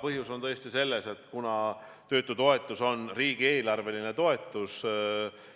Põhjus on selles, et kuna töötutoetus on riigieelarveline toetus